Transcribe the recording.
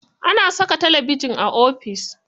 Ana saka talabijin a ofis.